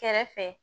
Kɛrɛfɛ